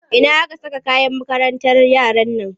Ina aka saka kayan makarantar yaran nan?